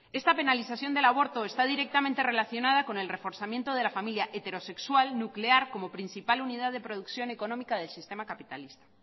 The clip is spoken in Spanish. esta penalización del aborto está directamente relacionada con el reforzamiento de la familia heterosexual nuclear como principal unidad de producción económica del sistema capitalista